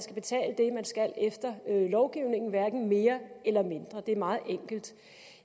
skal efter lovgivningen hverken mere eller mindre det er meget enkelt